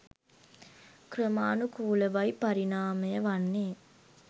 ක්‍රමානුකූලවයි පරිණාමය වන්නේ.